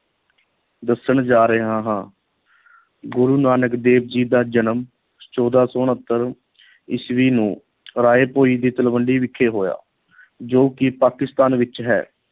ਦੱਸਣ ਜਾ ਰਿਹਾ ਹਾਂ ਗੁਰੂ ਨਾਨਕ ਦੇਵ ਜੀ ਦਾ ਜਨਮ ਚੋਦਾਂ ਸੌ ਉਣਤਰ ਈਸਵੀ ਨੂੰ ਰਾਏ ਭੋਇ ਦੀ ਤਲਵੰਡੀ ਵਿਖੇ ਹੋਇਆ ਜੋ ਕਿ ਪਾਕਿਸਤਾਨ ਵਿੱਚ ਹੈ।